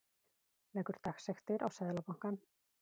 Leggur dagsektir á Seðlabankann